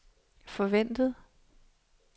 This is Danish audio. forventet